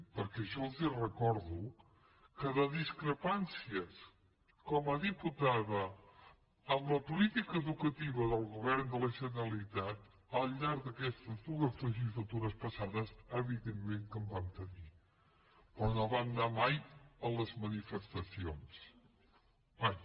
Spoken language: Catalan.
perquè jo els recordo que de discrepàncies com a diputada amb la política educativa del govern de la generalitat al llarg d’aquestes dues legislatures passades evidentment que en vam tenir però no vam anar mai a les manifestacions mai